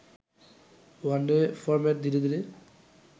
one day format ধীরে ধীরে